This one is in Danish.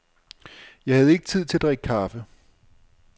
Jeg havde ikke tid til at drikke kaffe.